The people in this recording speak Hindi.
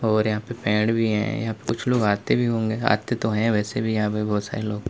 और यहां पेड़ भी है या कुछ लोग आते भी होंगे आते तो है वैसे भी यहां पर बहुत सारे लोग।